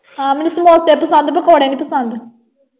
ਹਾਂ। ਮੈਨੂੰ ਸਮੋਸੇ ਪਸੰਦ ਪਕੌੜੇ ਨਹੀਂ ਪਸੰਦ।